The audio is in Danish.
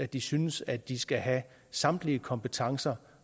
de synes at de skal have samtlige kompetencer